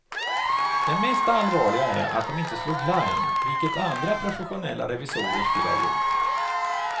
Det mest allvarliga är att de inte slog larm, vilket andra professionella revisorer skulle ha gjort.